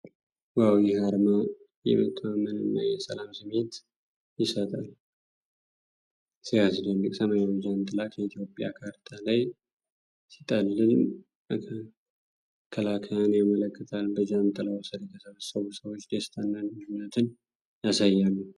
ዋው! ይህ አርማ የመተማመንና የሰላም ስሜት ይሰጣል! ሲያስደንቅ! ሰማያዊ ጃንጥላ ከኢትዮጵያ ካርታ ላይ ሲጠልል መከላከያን ያመለክታል። በጃንጥላው ስር የተሰበሰቡ ሰዎች ደስታንና አንድነትን ያሳያሉ።